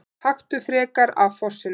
Taktu frekar af fossinum!